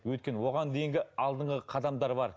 өйткені оған дейінгі алдыңғы қадамдар бар